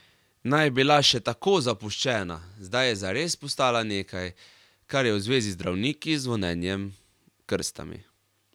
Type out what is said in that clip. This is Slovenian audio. Naj je bila še tako zapuščena, zdaj je zares postala nekaj, kar je v zvezi z zdravniki, zvonjenjem, krstami.